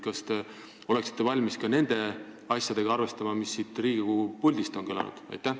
Kas te oleksite valmis ka nende asjadega arvestama, mis siit Riigikogu puldist on kõlanud?